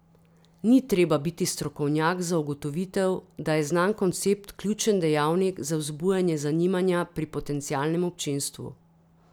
Ni treba biti strokovnjak za ugotovitev, da je znan koncept ključen dejavnik za vzbujanje zanimanja pri potencialnem občinstvu.